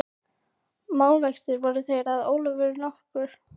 Málavextir voru þeir að Ólafur nokkur